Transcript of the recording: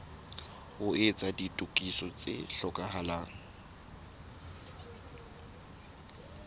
ho etsa ditokiso tse hlokahalang